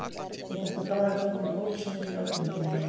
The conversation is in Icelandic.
Ég þakka Braga Þorgrími Ólafssyni fyrir ábendinguna.